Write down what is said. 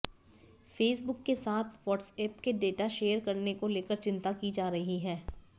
Facebook के साथ WhatsApp के डेटा शेयर करने को लेकर चिंता की जा रही है